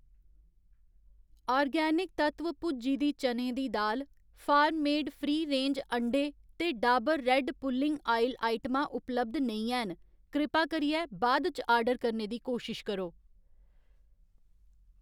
organic Tattva भुज्जी दी चनें दी दाल, फार्म मेड फ्री रेंज अंडें ते डाबर रैड्ड पुल्लिंग आयल आइटमां उपलब्ध नेईं हैन, कृपा करियै बाद इच आर्डर करने दी कोशश करो